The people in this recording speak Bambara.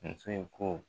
Muso in ko